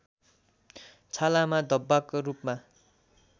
छालामा धब्बाको रूपमा